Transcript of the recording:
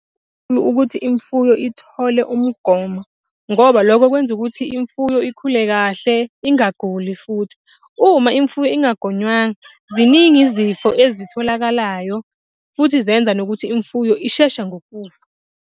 ukuthi imfuyo ithole umgomo. Ngoba lokho kwenza ukuthi imfuyo ikhule kahle, ingaguli futhi. Uma imfuyo ingagonywanga, ziningi izifo ezitholakalayo futhi zenza nokuthi imfuyo ishesha ngokufa.